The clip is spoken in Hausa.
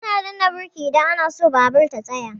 Ana danna birki idan ana so babur ya tsaya.